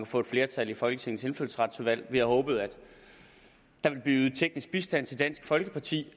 få et flertal i folketingets indfødsretsudvalg vi havde håbet at der ville blive ydet teknisk bistand til dansk folkeparti